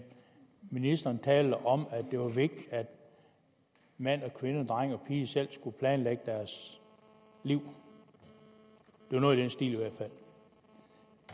ministeren talte om at det var vigtigt at mand og kvinde dreng og pige selv skulle planlægge deres liv det var noget i den stil